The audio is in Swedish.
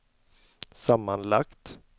sammanlagt